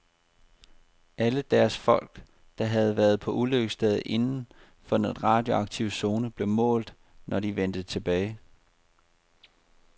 Alle deres folk, der havde været på ulykkesstedet inden for den radioaktive zone, blev målt, når de vendte tilbage.